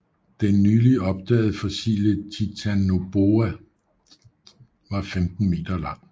Den nyligt opdagede fossile Titanoboa var 15 meter lang